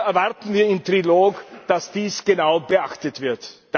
Hier erwarten wir im Trilog, dass dies genau beachtet wird.